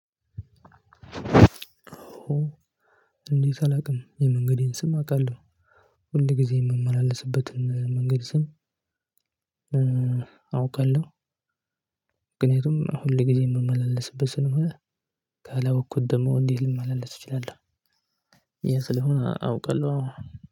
እንዴት አላቅም የመንገዴን ስም አቅለው ሁል ጊዜ የምመላለስበትን መንገድ ስም? አውቃለሁ። ግን የትም ሁል ጊዜ የምመላለስበት ስለሆነ ካላወኩት ደሞ እንዴት ልመላለስ እችላለሁ። ይሄ ስለሆነ አውቃለው አዎ።